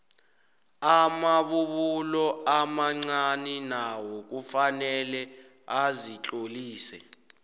amabubulo amancani nawo kufanele azitlolise